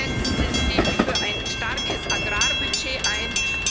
Bitte setzen Sie sich für ein starkes Agrarbudget ein.